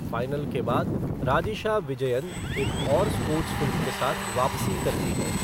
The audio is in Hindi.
फ़ाइनल के बाद, राजिशा विजयन एक और स्पोर्ट्स फ़िल्म के साथ वापसी करती हैं।